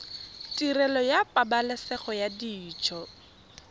tirelo ya pabalesego ya dijo